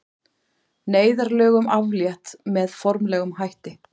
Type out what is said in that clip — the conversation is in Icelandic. Neyðarlögum aflétt með formlegum hætti